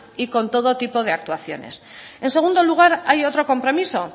y con todo tipo de actuaciones en segundo lugar hay otro compromiso